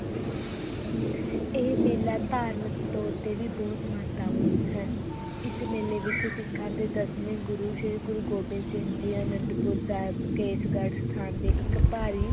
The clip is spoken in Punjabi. ਇਹ ਮੇਲਾ ਧਾਰਮਕ ਤੌਰ ‘ਤੇ ਵੀ ਬਹੁਤ ਮਹੱਤਵਪੂਰਨ ਹੈ ਇਸ ਮੇਲੇ ਵਿੱਚ ਸਿੱਖਾਂ ਦੇ ਦਸਵੇਂ ਗੁਰੂ ਸ੍ਰੀ ਗੁਰੂ ਗੋਬਿੰਦ ਸਿੰਘ ਜੀ ਅਨੰਦਪੁਰ ਸਾਹਿਬ, ਕੇਸਗੜ੍ਹ ਸਥਾਨ 'ਤੇ ਇੱਕ ਭਾਰੀ